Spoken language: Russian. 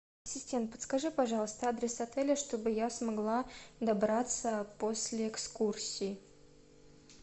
ассистент подскажи пожалуйста адрес отеля чтобы я смогла добраться после экскурсии